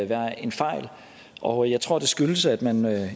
være en fejl og jeg tror det skyldes at man